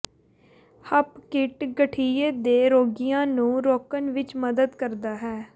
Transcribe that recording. ਹੱਪ ਕਿਟ ਗਠੀਏ ਦੇ ਰੋਗੀਆਂ ਨੂੰ ਰੋਕਣ ਵਿੱਚ ਮਦਦ ਕਰਦਾ ਹੈ